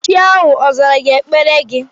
Chi ahụ ọ zara ekpere gị?